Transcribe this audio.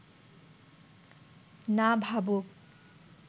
না ভাবুক